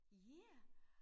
Ja